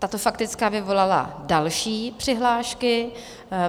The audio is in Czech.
Tato faktická vyvolala další přihlášky.